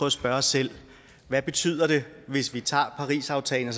at spørge os selv hvad betyder det hvis vi tager parisaftalen